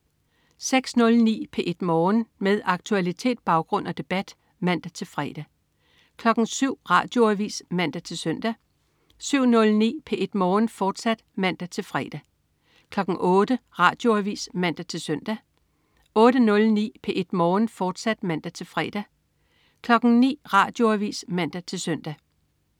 06.09 P1 Morgen. Med aktualitet, baggrund og debat (man-fre) 07.00 Radioavis (man-søn) 07.09 P1 Morgen, fortsat (man-fre) 08.00 Radioavis (man-søn) 08.09 P1 Morgen, fortsat (man-fre) 09.00 Radioavis (man-søn)